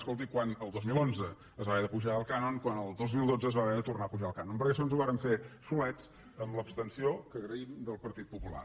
escolti quan el dos mil onze es va haver d’apujar el cànon quan el dos mil dotze es va haver de tornar a apujar el cà non perquè això ens ho vàrem fer solets amb l’abstenció que agraïm del partit popular